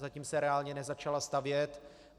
Zatím se reálně nezačala stavět.